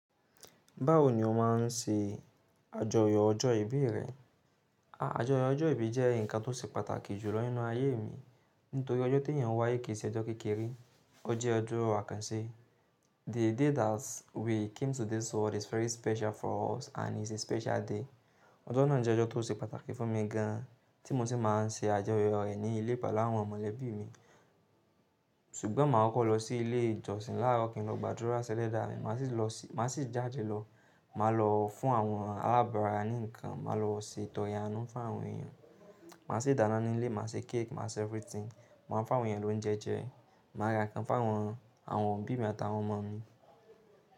Báwo ni o má n ṣe àjọyọ̀ ọjọ́ ìbí rẹ? Àjọyọ̀ ọjọ́ ìbí jẹ́ ǹkan tó ṣe pàtàkì jùlọ nínú ayé mi. Nítorí ọjọ́ tí èèyàn wáyé kì í ṣe ọjọ́ kékeré, ó jẹ́ ọjọ́ àkànṣe. The day that we came to this world is very special for us and is a special day. Ọjọ́ náà jẹ́ ọjọ́ tó ṣe pàtàkì fún mi gan an, tí mo sì má n ṣe àjọyọ̀ rẹ̀ ní ilé pẹ̀lú àwọn mọ̀lẹ́bí mi. Ṣùgbọ́n mà kokọ́ lọ sí ilé ìjọsìn láàrọ̀ kín lọ gbàdúrà sí Ẹlẹ́dàà mì. Mà á sì jáde lọ, mà á lọ fún àwọn alábàrá ní ǹkan, mà á lọ se ìtọ̀ya inú fún àwọn èèyàn, mà á ṣe ìdáná nínú ilé, mà á ṣe cake, mà á ṣe everything. Mà á fún àwọn èèyàn lóúnjẹ jẹ́, mà á ra ǹkan fún àwọn òbí mi àtàwọn ọmọ mi.